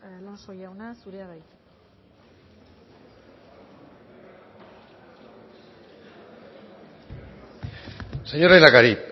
alonso jauna zurea da hitza señor lehendakari